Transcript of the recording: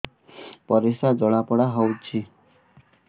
ପରିସ୍ରା ଜଳାପୋଡା ହଉଛି